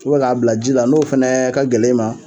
U bɛ k'a bila ji la n'o fɛnɛɛ ka gɛlɛn i ma